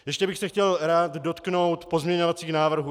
Ještě bych se chtěl rád dotknout pozměňovacích návrhů.